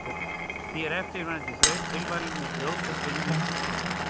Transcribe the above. Því er eftirfarandi þraut tilvalin til að brjóta upp vinnuna í amstri dagsins.